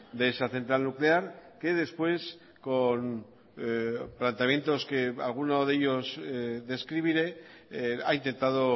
de esa central nuclear que después con planteamientos que alguno de ellos describiré ha intentado